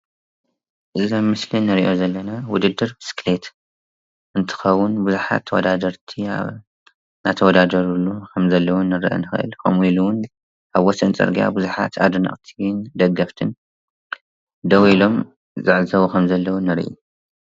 እዚ አብ ምስሊ እንሪኦ ዘለና ውድድር ብስክሊት እንትኸውን ብዙሓት ተውዳደርቲ እናተዋዳደርሉ ከም ዘለዉ ክንርዳእ ንክእል። ከምኡ ኢሉ እዉን አብ ወሰን ፅርግያ ቡዙሓት አደነቅቲን ደገፍትን ደው ኢሎም ይዕዘቡ ከም ዘለዉ ንራኢ።